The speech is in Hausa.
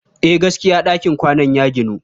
Eh, gaskiya ɗakin kwanan ya ginu.